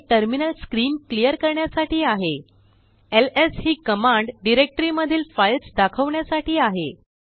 CTRLL terminal screen clear करण्यासाठी आहेls हि कमांडडाइरेक्टरी मधीलफाइल्स दाखवण्यासाठी आहे